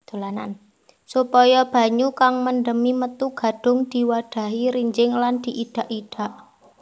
Supaya banyu kang mendemi metu gadhung diwadhahi rinjing lan diidak idak